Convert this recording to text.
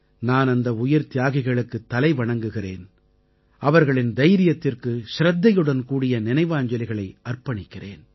நான் அந்த உயிர்த்தியாகிகளுக்குத் தலைவணங்குகிறேன் அவர்களின் தைரியத்திற்கு சிரத்தையுடன்கூடிய நினைவாஞ்சலிகளை அர்ப்பணிக்கிறேன்